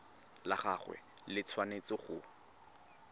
la gagwe le tshwanetse go